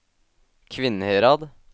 Kvinnherad